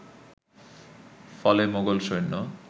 ফলে মোগল সৈন্য